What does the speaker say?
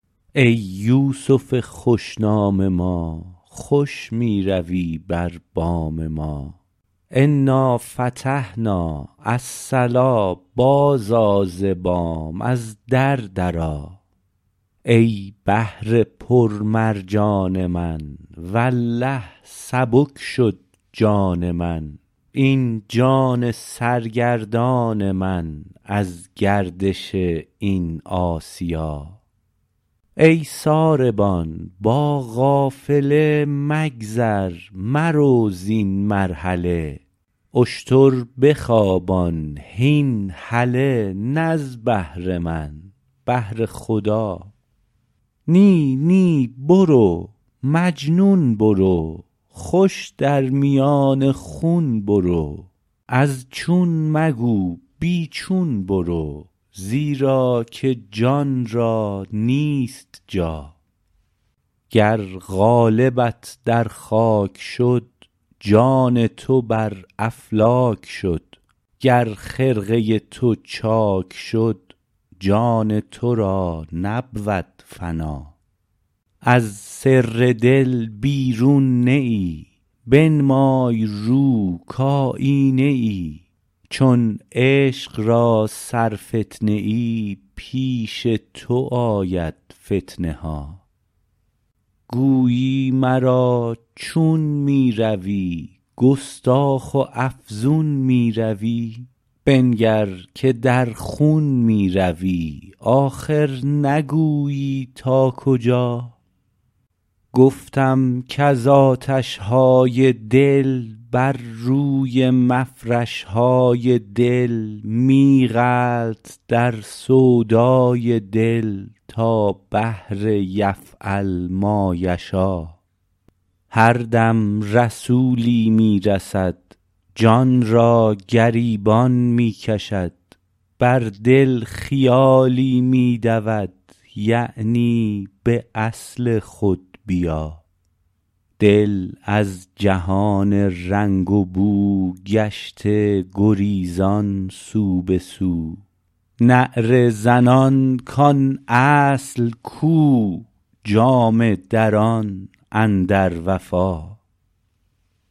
ای یوسف خوش نام ما خوش می روی بر بام ما انا فتحنا الصلا بازآ ز بام از در درآ ای بحر پرمرجان من والله سبک شد جان من این جان سرگردان من از گردش این آسیا ای ساربان با قافله مگذر مرو زین مرحله اشتر بخوابان هین هله نه از بهر من بهر خدا نی نی برو مجنون برو خوش در میان خون برو از چون مگو بی چون برو زیرا که جان را نیست جا گر قالبت در خاک شد جان تو بر افلاک شد گر خرقه تو چاک شد جان تو را نبود فنا از سر دل بیرون نه ای بنمای رو کایینه ای چون عشق را سرفتنه ای پیش تو آید فتنه ها گویی مرا چون می روی گستاخ و افزون می روی بنگر که در خون می روی آخر نگویی تا کجا گفتم کز آتش های دل بر روی مفرش های دل می غلط در سودای دل تا بحر یفعل ما یشا هر دم رسولی می رسد جان را گریبان می کشد بر دل خیالی می دود یعنی به اصل خود بیا دل از جهان رنگ و بو گشته گریزان سو به سو نعره زنان کان اصل کو جامه دران اندر وفا